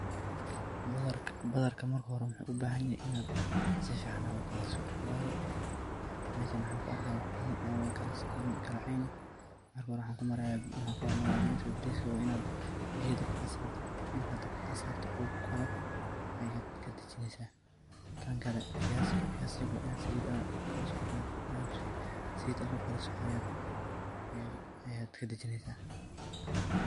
Badharka marka xore muxuu ubaxanyaxay inadh sifican adh ukariso, wayo meshan maxan kuarkixaya wax badan o kalasoconin kalaceyn axx, marka xore waxan kuxormarixayaa bariska, bariska wa inadh biya dabka adh sarto, marka dabka sarto u karoo ayadh kadajineysa, tankale wa viazi wa inadh salit kukarisoo ayadh kadhajineysaa.